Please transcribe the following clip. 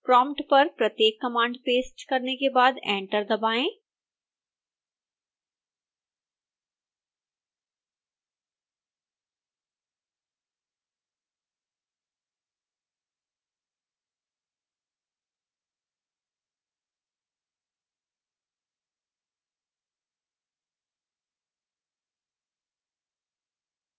prompt पर प्रत्येक command paste करने के बाद एंटर दबाएं